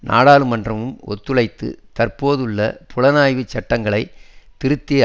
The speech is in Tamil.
நாடாளுமன்றமும் ஒத்துழைத்து தற்போதுள்ள புலனாய்வு சட்டங்களை திருத்தி